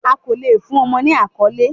A ko le fun ọmọ ni akọle